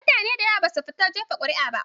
Mutane da yawa basu fita jefa ƙuri'a ba